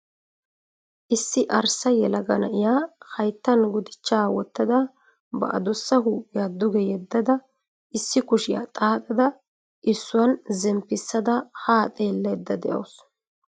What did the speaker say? Issi arssa yelaga na'iya hayttan gudichchaa wottada ba adussa huuphiya duge yeddada issi kushiya xaaxada issuwan zemppissada haa xeellayda dawusu.